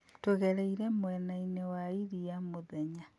Tũgereire mwena-inĩ wa iria mũthenya